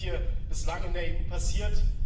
Was ist hier bislang in der EU passiert?